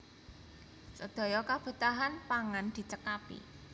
Sedaya kebetahan pangan dicekapi